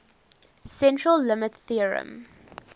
central limit theorem